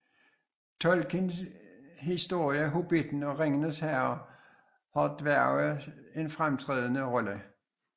Tolkiens historier Hobitten og Ringenes Herre har dværge en fremtrædende rolle